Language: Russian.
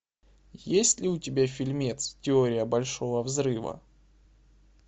есть ли у тебя фильмец теория большого взрыва